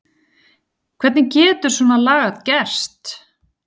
Hvernig getur svona lagað gerst?